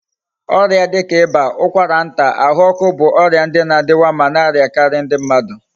Oria dika iba, ukwara nta, ahu oku bu oria ndi na adiwa ma na ariakari ndi mmadu